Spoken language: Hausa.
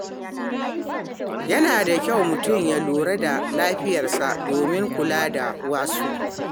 Yana da kyau mutum ya lura da lafiyarsa domin kula da wasu.